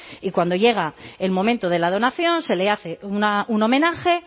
y cuando llega el momento de la donación se le hace un homenaje